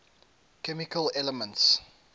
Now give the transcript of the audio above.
chemical elements